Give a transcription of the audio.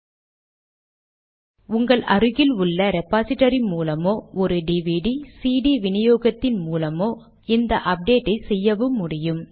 இப்போது உங்கள் அருகில் உள்ள ரெபாசிடரி மூலமோ ஒரு டிவிடி சிடி வினியோகத்தின் மூலமோ இந்த அப்டேட்டை செய்யவும் முடியும்